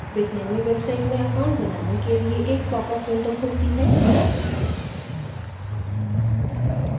bitnami website में account बनाने के लिए एक popup window खुलती है